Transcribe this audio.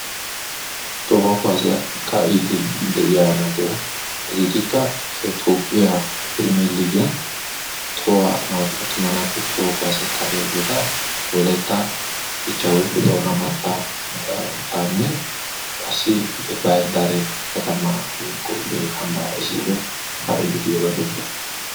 Toho kuwassiya kaa'idi de'iyaa naati, hageetikka Toopgiya firmeeligiyan tohuwan naatu attuma naatu tohuwa kuwassiya kaa'iyaageeta wolaytta dichcha woykko Toona mattatanne qassi Bahir Daare katama woykko ambbara issippe kaa'ide diyooga beessees.